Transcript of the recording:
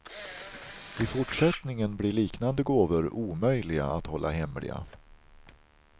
I fortsättningen blir liknande gåvor omöjliga att hålla hemliga.